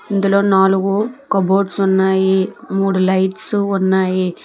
ఇందులో నాలుగు కబోర్డ్స్ ఉన్నాయి మూడు లైట్సు ఉన్నాయి.